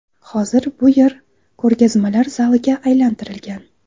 Hozir bu yer ko‘rgazmalar zaliga aylantirilgan.